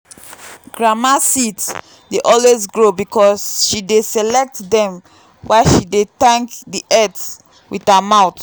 grandma seeds dey always grow because she dey select them while she dey thank the earth with her mouth.